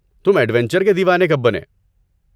تم ایڈونچر کے دیوانے کب بنے؟